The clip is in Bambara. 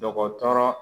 Dɔgɔtɔrɔ